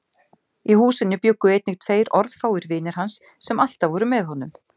Í húsinu bjuggu einnig tveir orðfáir vinir hans sem alltaf voru með honum.